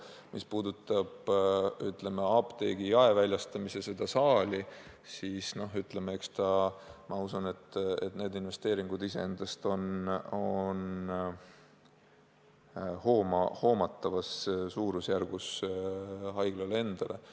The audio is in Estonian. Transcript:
Mis puudutab haiglaapteegist kauba jaemüügi korras väljastamise saali, siis ma usun, need investeeringud iseendast on hoomatavas suurusjärgus, nii et haigla suudab neid teha.